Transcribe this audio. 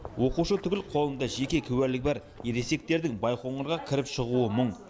оқушы түгіл қолында жеке куәлігі бар ересектердің байқоңырға кіріп шығуы мұң